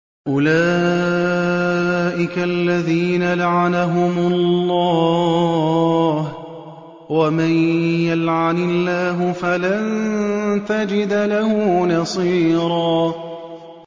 أُولَٰئِكَ الَّذِينَ لَعَنَهُمُ اللَّهُ ۖ وَمَن يَلْعَنِ اللَّهُ فَلَن تَجِدَ لَهُ نَصِيرًا